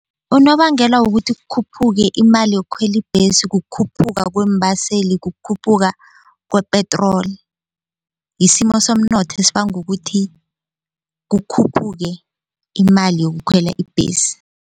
Unobangela wokuthi khuphuke imali yokukhwela ibhesi kukhuphuka kweembaseli kukhuphuka kwepetroli yisimo somnotho esibangukuthi kukhuphuke imali yokukhwela ibhesi.